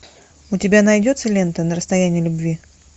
у тебя найдется лента на расстоянии любви